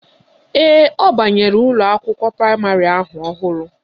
Ee, ọ banyere ụlọakwụkwọ praịmarị ahụ ọhụrụ